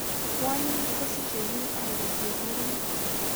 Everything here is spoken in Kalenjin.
Kwonyik kosiche UI kosiir murenik